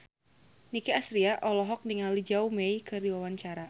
Nicky Astria olohok ningali Zhao Wei keur diwawancara